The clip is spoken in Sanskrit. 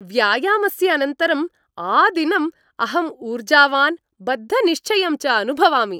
व्यायामस्य अनन्तरं आदिनम् अहं ऊर्जावान् बद्धनिश्चयं च अनुभवामि।